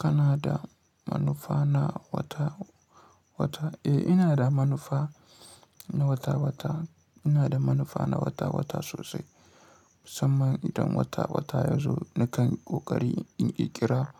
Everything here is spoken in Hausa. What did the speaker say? Kana da manufa na wata-wata? Eh, ina da manufa na wata-wata. Ina da manufa na wata-wata sosai. Musamman idan wata-wata ya zo nakan yi ƙoƙari in ƙirƙira